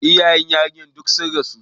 Iyayen yarinyar duk sun rasu.